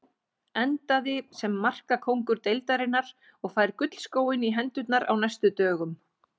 Endaði sem markakóngur deildarinnar og fær gullskóinn í hendurnar á næstu dögum.